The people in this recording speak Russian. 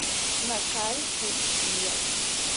на карте йес